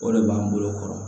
O de b'an bolo kɔrɔ